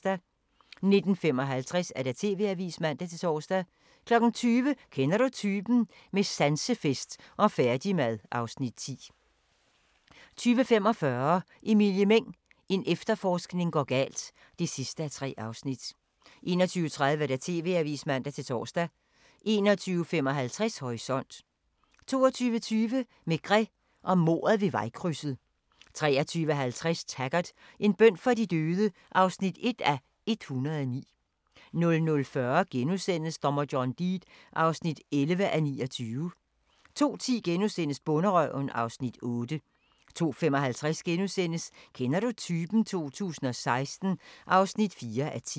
19:55: TV-avisen (man-tor) 20:00: Kender du typen? – med sansefest og færdigmad (Afs. 10) 20:45: Emilie Meng – en efterforskning går galt (3:3) 21:30: TV-avisen (man-tor) 21:55: Horisont 22:20: Maigret og mordet ved vejkrydset 23:50: Taggart: En bøn for de døde (1:109) 00:40: Dommer John Deed (11:29)* 02:10: Bonderøven (Afs. 8)* 02:55: Kender du typen? 2016 (4:10)*